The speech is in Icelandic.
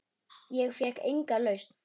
Ég fékk enga lausn.